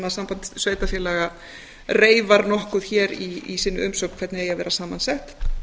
samband sveitarfélaga reifað nokkuð hér í sinni umsögn hvernig eigi að vera saman sett